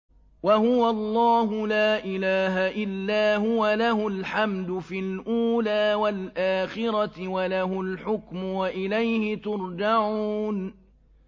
وَهُوَ اللَّهُ لَا إِلَٰهَ إِلَّا هُوَ ۖ لَهُ الْحَمْدُ فِي الْأُولَىٰ وَالْآخِرَةِ ۖ وَلَهُ الْحُكْمُ وَإِلَيْهِ تُرْجَعُونَ